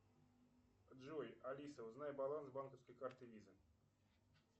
джой алиса узнай баланс банковской карты виза